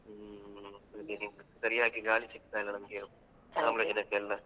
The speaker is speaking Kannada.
ಹ್ಮ್ ಅದೇ ಸರಿಯಾಗಿ ಗಾಳಿ ಸಿಕ್ತಾ ಇಲ್ಲಾ ನಮ್ಗೆ ಆಮ್ಲಜನಕ ಎಲ್ಲ.